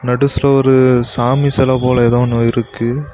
நடுஸ்ல ஒரு சாமி செல போல ஏதோ ஒன்னு இருக்கு.